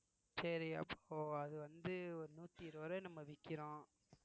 சரிஅப்போ அது வந்து ஒரு நூத்தி இருவது ரூவாய் நம்ம விக்கிறோம்